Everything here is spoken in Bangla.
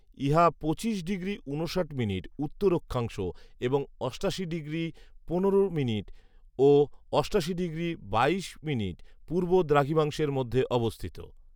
ইহা পঁচিশ ডিগ্রি ঊনষাট মিনিট উত্তর অক্ষাংশ এবং অষ্টাশি ডিগ্রি পনেরো মিনিট ও অষ্টাশি ডিগ্রি বাইশ মিনিট পূর্ব দ্রাঘিমাংশের মধ্যে অবস্থিত